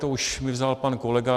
To už mi vzal pan kolega.